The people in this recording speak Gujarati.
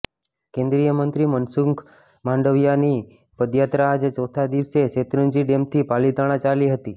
કેન્દ્રીયમંત્રી મનસુખ માંડવયાની પદયાત્રા આજે ચોથા દિવસે શેત્રુંજી ડેમથી પાલિતાણા ચાલી હતી